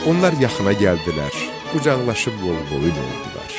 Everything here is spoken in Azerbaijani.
Onlar yaxına gəldilər, qucaqlaşıb qol-boyun oldular.